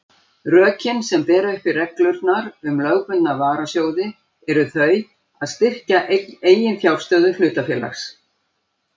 Rökin sem bera uppi reglurnar um lögbundna varasjóði eru þau að styrkja eiginfjárstöðu hlutafélags.